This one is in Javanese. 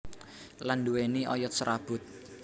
Lan nduwéni oyot serabut